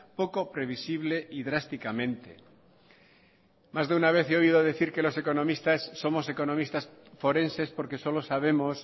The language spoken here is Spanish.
poco previsible y drásticamente más de una vez he oído decir que los economistas somos economistas forenses porque solo sabemos